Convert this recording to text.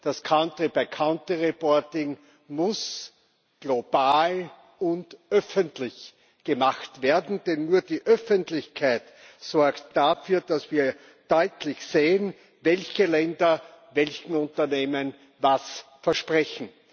Das Country by Country Reporting muss global und öffentlich gemacht werden, denn nur die Öffentlichkeit sorgt dafür, dass wir deutlich sehen, welche Länder welchen Unternehmen was versprechen.